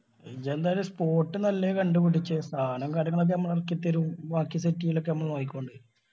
ഇജ്ജ് എന്തായാലും spot നല്ലത് കണ്ട് പിടിച്ച് സാനോം കാര്യങ്ങള് ഒക്കെ ഞമ്മള് എറക്കിത്തരും ബാക്കി set എയ്യൽ ഒക്കെ ഞമ്മള് നോക്കിക്കൊണ്ട്.